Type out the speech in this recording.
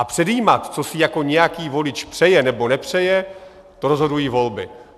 A předjímat, co si jako nějaký volič přeje nebo nepřeje, to rozhodují volby.